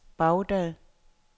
Baghdad